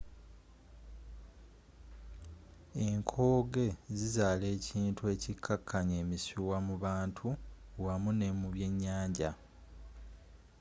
enkooge zizaala ekintu ekikkakkanya emisuwa mu bantu wamu ne mu byenyanja